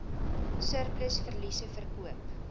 surplus verliese verkoop